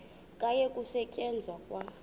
kwayekwa ukusetyenzwa kwa